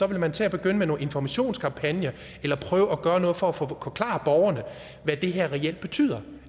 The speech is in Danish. vil man til at begynde med nogle informationskampagner eller prøve at gøre noget for at forklare borgerne hvad det her reelt betyder